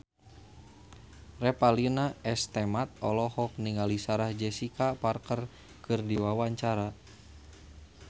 Revalina S. Temat olohok ningali Sarah Jessica Parker keur diwawancara